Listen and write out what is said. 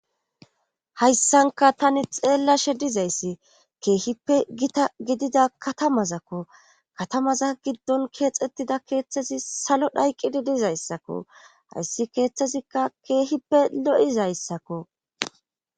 hayssanka tani xeellashe dizayssi keehippe gita gidida katamazakko katamaza giddon keexettida keeththazi salo dhayqqidi dizayssakko hayssi keeththazikka keehippe lo7izayssakko